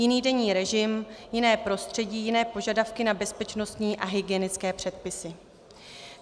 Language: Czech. Jiný denní režim, jiné prostředí, jiné požadavky na bezpečnostní a hygienické předpisy.